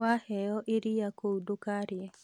Waheo iria kũu ndũkarĩe